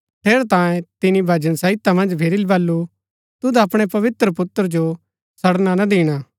ठेरैतांये तिनी भजन संहिता मन्ज फिरी बल्लू तुद अपणै पवित्र पुत्र जो सडणा ना दिणा